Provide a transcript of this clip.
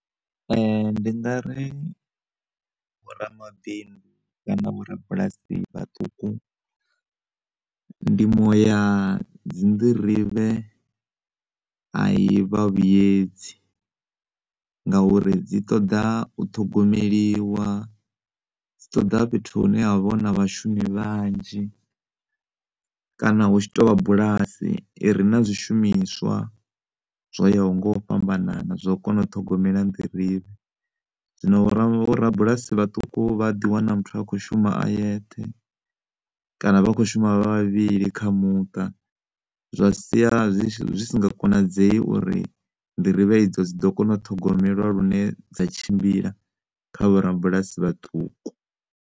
Ndi ngari vho ramabindu na vho rabulasi vhaṱuku ndimo ya dzinḓirivhe a i vha vhuyedzi nga uri dzi ṱoḓa u ṱhogomeliwa, dzi ṱoḓa fhethu hune havha huna vhashumi vhanzhi kana hu tshi tovha bulasi ire na zwishumiswa zwo yaho nga u fhambanana zwo kona u ṱhogomela nḓirivhe. Zwino vho rabulasi vhaṱuku vha ḓiwana muthu a kho shuma a yeṱhe kana vha kho shuma vha vhavhili kha muṱa zwa sia zwi si nga konadzei uri nḓirivhe idzo dzi ḓo kona u ṱhogomelwa lune dza tshimbila kha vho rabulasi vhaṱuku.